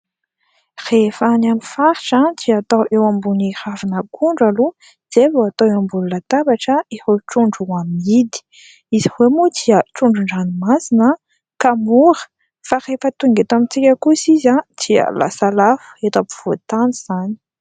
Rehefa any amin'ny faritra dia atao eo ambon'ny ravina akondro aloha izay vao atao eo ambonin'ny latabatra ireo trondro ho amidy ; izy ireo moa dia trondron-dranomasina ka mora fa rehefa tonga eto amintsika kosa izy dia lasa lafo eto ampovoan-tany izany.